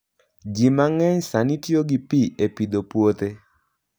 Ji mang'eny sani tiyo gi pi e pidho puothe.